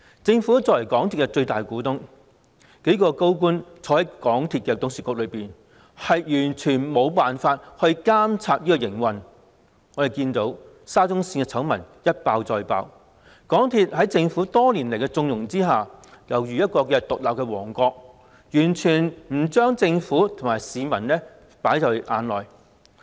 政府作為港鐵公司的最大股東，數名高官參與港鐵董事局，卻完全無法監察港鐵的營運，沙中綫醜聞一爆再爆，港鐵公司在政府多年來縱容之下尤如獨立王國，完全不把政府和市民放在眼內。